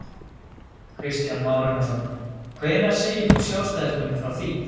Kristján Már Unnarsson: Hvenær segir þú sjálfstæðismönnum frá því?